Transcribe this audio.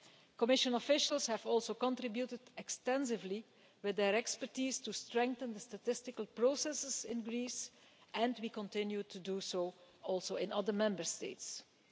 Commission officials have also contributed extensively, with their expertise, to strengthening the statistical processes in Greece, and we continue to do that, as we do in other Member States too.